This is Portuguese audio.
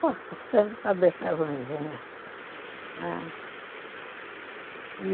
Estou ficando cabeça ruinzinha, não é?